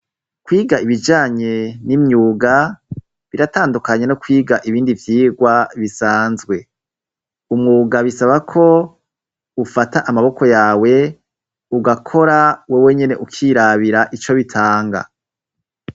Kwiga ibijanye n'imyuga biratandukanye no kwiga ibindi vyirwa bisanzwe umwuga bisaba ko ufata amaboko yawe ugakora wewe nyene ukirabira ico bitanga.